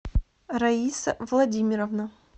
раиса владимировна